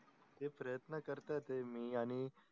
ते प्रयत्न करतो ते मी आणि